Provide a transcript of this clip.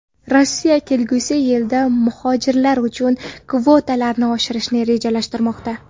Rossiya kelgusi yilda muhojirlar uchun kvotalarni oshirishni rejalashtirmoqda.